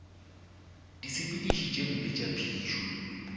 disepediši tše mpe tša phišo